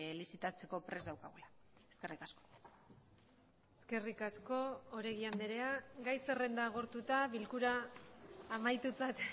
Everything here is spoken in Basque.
lizitatzeko prest daukagula eskerrik asko eskerrik asko oregi andrea gai zerrenda agortuta bilkura amaitutzat